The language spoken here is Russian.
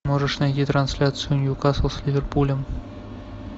можешь найти трансляцию ньюкасл с ливерпулем